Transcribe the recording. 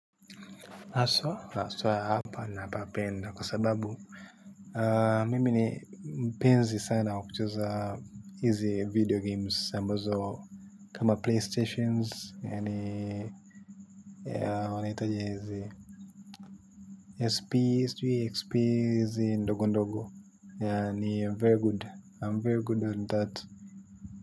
Haswa? Haswa, hapa napapenda kwa sababu. Mimi ni mpenzi sana wa kucheza hizi video games. Ambazo, kama playstations. Yaani, wanaitaje hizi SP, sijui, XP, hizi ndogo ndogo. Yaani, I'm very good. I'm very good on that.